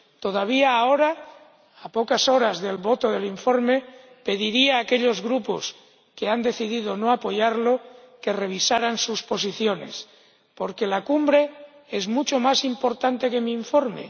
Todavía ahora, a pocas horas de la votación del informe, pediría a aquellos grupos que han decidido no apoyarlo que revisaran sus posiciones, porque la Cumbre es mucho más importante que mi informe.